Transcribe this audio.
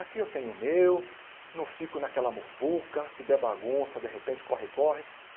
Aqui eu tenho o meu, não fico naquela muvuca, se der bagunça, de repente, corre, corre.